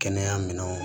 Kɛnɛya minɛnw